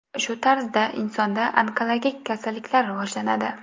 Shu tarzda insonda onkologik kasalliklar rivojlanadi.